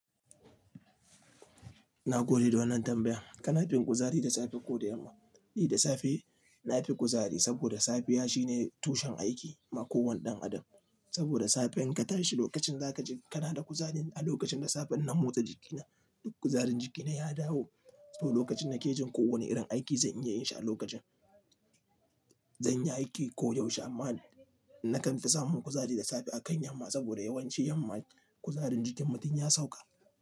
Na gode da wannan tambayan. Kana fin kuzari da safe ko da yamma? Ni da safe na fi kuzari saboda safiya shine tushen aiki ma ko wanne ɗan adam. Saboda safe in ka tashi lokacin za ka ji kana da kuzari. A lokacin da safe ina motsa jikina, duk kuzarin jikina ya dawo. To lokacin na ke jin ko wane irin aiki zan iya yin shi a lokacin. Zan iya aiki koda yaushe amma na kan fi samun kuzari da safe a kan yamma saboda yawanci yamma kuzarin jikin mutum ya sauka.